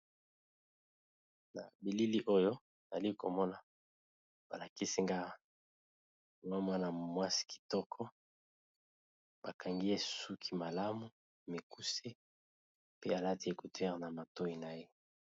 Na bilili oyo nazali komona balakisi nga mwa mwana mwasi kitoko bakangiye suki malamu mikuse pe alati ecouteure na matoi na ye.